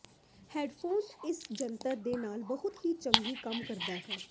headphone ਇਸ ਜੰਤਰ ਦੇ ਨਾਲ ਬਹੁਤ ਹੀ ਚੰਗੀ ਕੰਮ ਕਰਦੇ ਹਨ